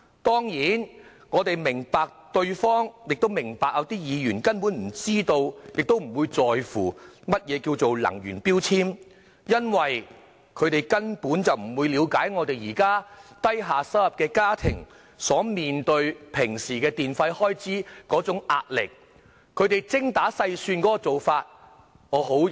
當然，我們明白有些議員根本不知道亦不在乎何謂能源標籤，因為他們不了解低收入家庭面對電費開支的壓力，必須精打細算。